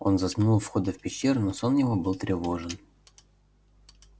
он заснул у входа в пещеру но сон его был тревожен